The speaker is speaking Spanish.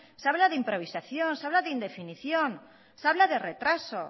se habla de improvisación se habla de indefinición se habla de retraso